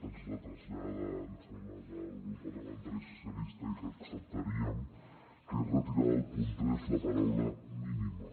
ens la trasllada em sembla que el grup parlamentari socialistes i que acceptaríem que és retirar del punt tres la paraula mínima